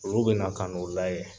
Olu bɛna kan' o layɛ